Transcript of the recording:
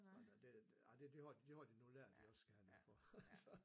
Nå nå ah det det har det har de nu lært at de også skal have noget for